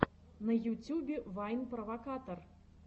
на ютюбе вайн провокатор